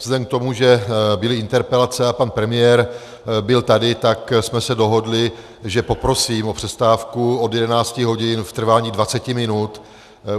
Vzhledem k tomu, že byly interpelace a pan premiér byl tady, tak jsme se dohodli, že poprosím o přestávku od 11 hodin v trvání 20 minut.